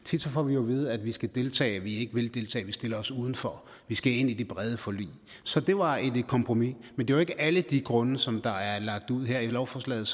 tit får vi jo at vide at vi skal deltage og at vi ikke vil deltage at vi stiller os udenfor at vi skal ind i de brede forlig så det var et kompromis men det var ikke alle de grunde som der er lagt ud her i lovforslaget